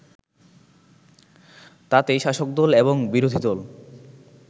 তাতে শাসকদল এবং বিরোধীদল